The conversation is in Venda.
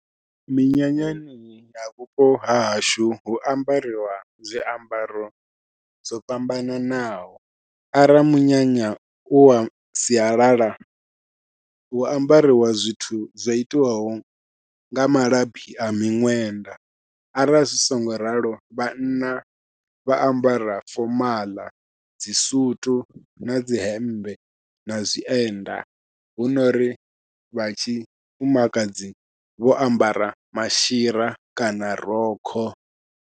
Minyanyani na vhupo hahashu hu ambariwa zwiambaro zwo fhambananaho, ara munyanya uwa sialala hu ambariwa zwithu zwo itiwaho nga malabi a miṅwenda, arali zwi songo ralo vhanna vha ambara fomaḽa dzi sutu nadzi hemmbe na zwienda, hunori vha tshi fumakadzi vho ambara mashira kana rokho.